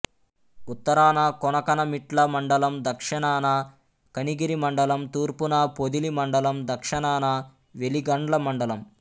ఉత్తరాన కొనకనమిట్ల మండలం దక్షణాన కనిగిరి మండలం తూర్పున పొదిలి మండలం దక్షణాన వెలిగండ్ల మండలం